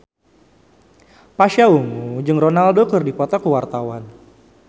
Pasha Ungu jeung Ronaldo keur dipoto ku wartawan